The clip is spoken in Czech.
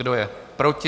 Kdo je proti?